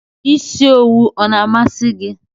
Isi owu ọ na amasi gị?